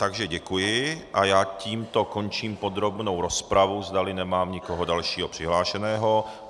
Takže děkuji a já tímto končím podrobnou rozpravu, zdali nemám někoho dalšího přihlášeného.